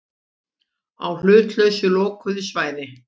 Á hlutlausu lokuðu svæði.